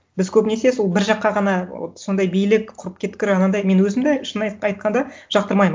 біз көбінесе сол бір жаққа ғана вот сондай билік құрып кеткір анандай мен өзім де шын айтқанда жақтырмаймын